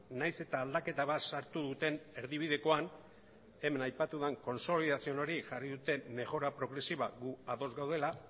nahiz eta aldaketa bat sartu duten erdibidekoan hemen aipatu den consolidación hori jarri dute mejora progresiva gu ados gaudela